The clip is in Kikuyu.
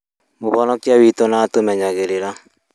Mũhonokia witũ nĩatũmenyagĩrĩra